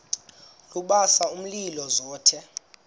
lubasa umlilo zothe